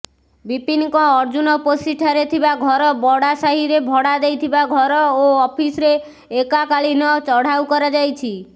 ବିପିନଙ୍କ ଅର୍ଜୁନପୋଷିଠାରେ ଥିବା ଘର ବଢ଼ାସାହିରେ ଭଡ଼ା ଦେଇଥିବା ଘର ଓ ଅଫିସରେ ଏକାକାଳୀନ ଚଢ଼ାଉ କରାଯାଇଛି